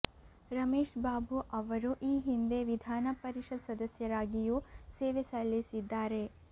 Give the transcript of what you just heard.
ರಮೇಶ್ ಬಾಬು ಅವರು ಈ ಹಿಂದೆ ವಿಧಾನ ಪರಿಷತ್ ಸದಸ್ಯರಾಗಿಯೂ ಸೇವೆ ಸಲ್ಲಿಸಿದ್ದಾರೆ